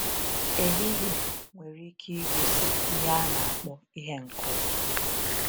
‘Ehihie’ nwere ike igosi ihe a na-akpọ ìhè nke ụwa.